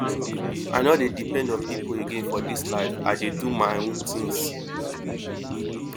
i no dey depend on pipo again for dis life i dey do my tins